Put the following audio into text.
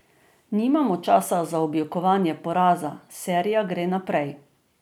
Nimamo časa za objokovanje poraza, serija gre naprej.